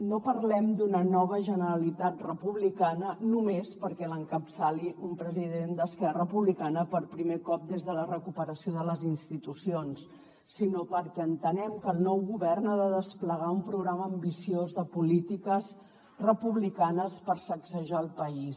no parlem d’una nova generalitat republicana només perquè l’encapçali un president d’esquerra republicana per primer cop des de la recuperació de les institucions sinó perquè entenem que el nou govern ha de desplegar un programa ambiciós de polítiques republicanes per sacsejar el país